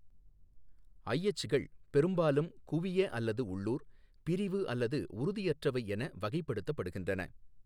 ஐஎச் கள் பெரும்பாலும் குவிய அல்லது உள்ளூர், பிரிவு அல்லது உறுதியற்றவை என வகைப்படுத்தப்படுகின்றன.